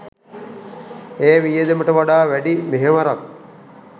ඒ වියදමට වඩා වැඩි මෙහෙවරක්